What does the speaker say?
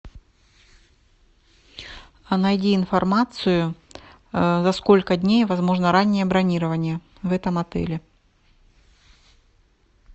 а найди информацию за сколько дней возможно раннее бронирование в этом отеле